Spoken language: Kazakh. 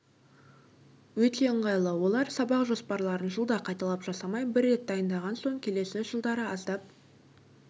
өте ыңғайлы олар сабақ жоспарларын жылда қайталап жасамай бір рет дайындаған соң келесі жылдары аздап